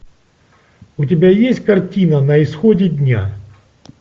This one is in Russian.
у тебя есть картина на исходе дня